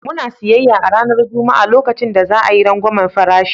Muna siyayya a ranar Juma'a lokacin da za a yi rangwamen farashi.